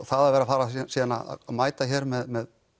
það að vera að fara síðan að mæta hér með